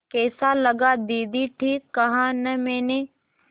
कैसा लगा दीदी ठीक कहा न मैंने